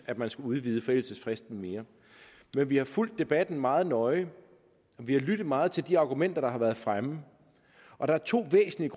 at man skulle udvide forældelsesfristen mere men vi har fulgt debatten meget nøje vi har lyttet meget til de argumenter der har været fremme og der er to væsentlige